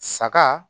Saga